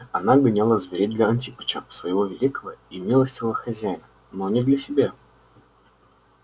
она гоняла зверей для антипыча своего великого и милостивого хозяина но не для себя